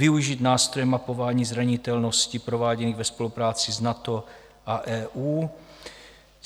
Využít nástroje mapování zranitelnosti prováděných ve spolupráci s NATO a EU.